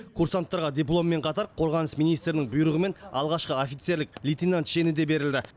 курсанттарға дипломмен қатар қорғаныс министрінің бұйрығымен алғашқы офицерлік лейтенант шені де берілді